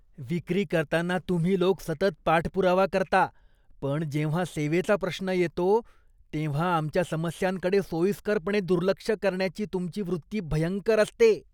विक्री करताना तुम्ही लोक सतत पाठपुरावा करता, पण जेव्हा सेवेचा प्रश्न येतो तेव्हा आमच्या समस्यांकडे सोयीस्करपणे दुर्लक्ष करण्याची तुमची वृत्ती भयंकर असते.